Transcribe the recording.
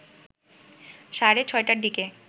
সাড়ে ৬টার দিকে